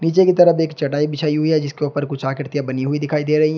नीचे की तरफ एक चटाई बिछाई हुई है जिसके ऊपर कुछ आकृतियां बनी हुई दिखाई दे रही हैं।